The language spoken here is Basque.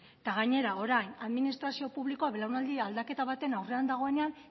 eta gainera orain administrazio publikoan belaunaldi aldaketa baten aurrean dagoenean